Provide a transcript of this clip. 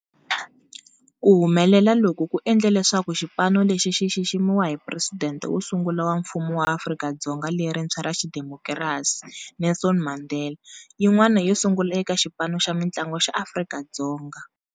Ku humelela loku ku endle leswaku xipano lexi xi xiximiwa hi Presidente wo sungula wa Mfumo wa Afrika-Dzonga lerintshwa ra xidemokirasi, Nelson Mandela, yin'wana yo sungula eka xipano xa mintlangu xa Afrika-Dzonga.